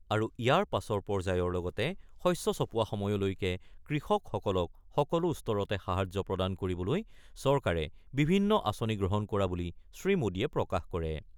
আৰু ইয়াৰ পাছৰ পৰ্যায়ৰ লগতে শস্য চপোৱা সময়লৈকে কৃষকসকলক সকলো স্তৰতে সাহায্য প্ৰদান কৰিবলৈ চৰকাৰে বিভিন্ন আঁচনি গ্ৰহণ কৰা বুলি শ্ৰীমোদীয়ে প্ৰকাশ কৰে।